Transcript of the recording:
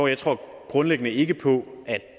jeg tror grundlæggende ikke på at